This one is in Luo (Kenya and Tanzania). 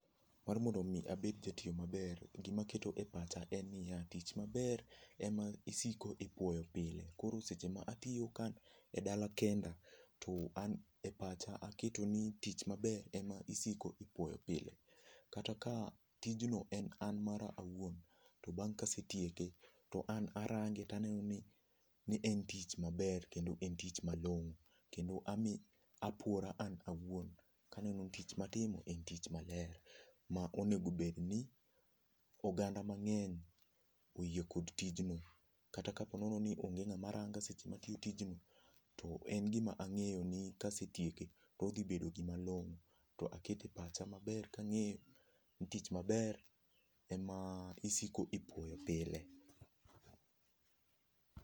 Mar mondo mi abed ja tiyo maber gima aketo e pacha en niya tich maber ema osiko ipuoyo pile. Koro seche ma atiyo ka an edala kenda, to an e pacha aketo ni tich maber ema osiko ipuoyo pile. Kata ka tijno en mara awuon, to bang' kase tieke to arange ni en tich maber kendo en tich malong'o kendo apuora an awuon kaneno tich matimo en tich maler ma onego bedni oganda mang'eny oyie kod tijno. Kata ka po nono ni on ge ng'ama ranga seche ma atiyo tijno, to en gima ang'eyo ni kase tieke to odhi bedo gima long'o to akete pacha maber ka ang'eyo ni tich maber ema isiko ipuoyo pile.